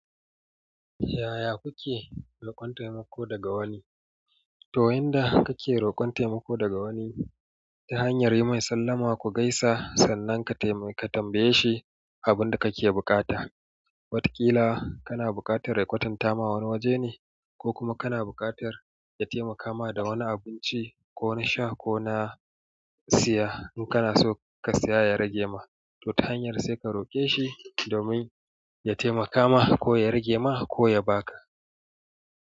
Yaya kuke roƙon taimako daga wani? To yanda kake roƙon taimako daga wani, ta hanyar yi mai sallama ku gaisa sannan ka tambaye shi abin da kake bukata. Watakila kana buƙatar ya kwatanta ma wani wajene, ko kuma kana buƙatar ya taimaka ma da wani abinci ko na sha ko na siya in kana so ka siya ya rage ma. To ta hanyar sai ka roƙe shi domin ya taimaka ma ko ya rage ma ko ya ba ka.